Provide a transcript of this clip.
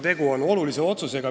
Tegu on aga olulise otsusega.